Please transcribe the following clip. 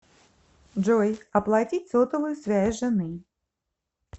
джой оплатить сотовую связь жены